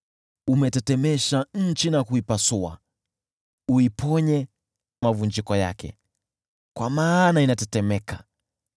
Umetetemesha nchi na kuipasua; uiponye mavunjiko yake, kwa maana inatetemeka.